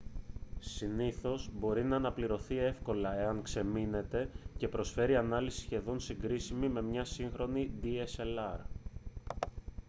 συνήθως μπορεί να αναπληρωθεί εύκολα εάν ξεμείνετε και προσφέρει ανάλυση σχεδόν συγκρίσιμη με μία σύγχρονη dslr